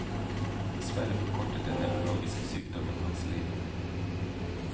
Dessverre forkortet den nevrologiske sykdommen hans liv.